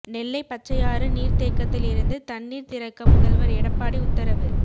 நெல்லை பச்சையாறு நீர்த்தேக்கத்தில் இருந்து தண்ணீர் திறக்க முதல்வர் எடப்பாடி உத்தரவு